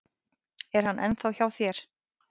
Er hann ennþá hjá þér?